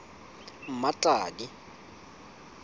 mmatladi